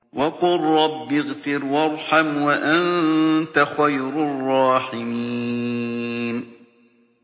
وَقُل رَّبِّ اغْفِرْ وَارْحَمْ وَأَنتَ خَيْرُ الرَّاحِمِينَ